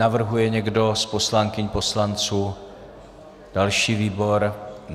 Navrhuje někdo z poslankyň, poslanců další výbor?